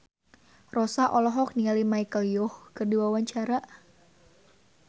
Rossa olohok ningali Michelle Yeoh keur diwawancara